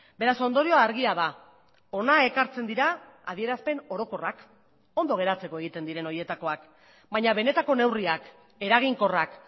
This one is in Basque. beraz ondorioa argia da hona ekartzen dira adierazpen orokorrak ondo geratzeko egiten diren horietakoak baina benetako neurriak eraginkorrak